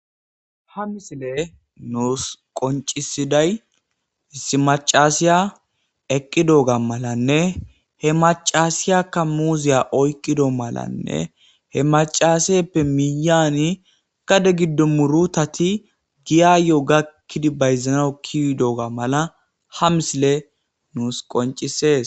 ha misile nuus qoncisiday issi macasiya eqqi dooga malanne he macasiyakka muuziya oykqido malanne he macaseppe miyani kade giddo murutati giyayyo gakkidi bayzanau kiy dooga mala ha misile nuus qoncisees